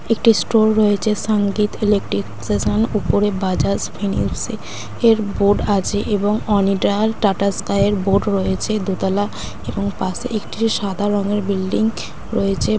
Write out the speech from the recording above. একটি স্টোর রয়েছে সংগীত ইলেকট্রন উপরে বাজাজ ফিন্যান্স এর বোর্ড আছে এবং ওনিডা আর টাটা স্কাই এর বোর্ড রয়েছে। দুতলা এবং পাশে একটি সাদা রঙের বিল্ডিং রয়েছে।